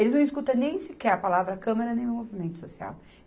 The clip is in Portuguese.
Eles não escutam nem sequer a palavra câmara nem o movimento social.